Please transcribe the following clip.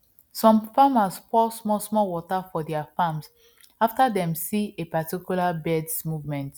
some farmers pour small small water for their farms after dem see a particular birds movement